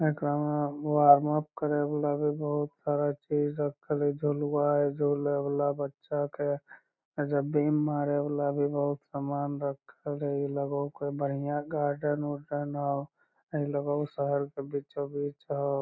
एकरा में वार्मअप करे वाला भी बहुत तरह के चीज रखल हेय झूलबा हेय झूले वाला बच्चा के एजा बीम मारे वाला भी बहुत समान रखल हेय लगे होअ कोय बढ़िया गार्डन उर्डन हो हई लगे होअ शहर के बीचों-बीच होअ।